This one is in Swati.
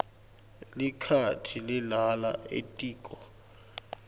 likati lilala etiko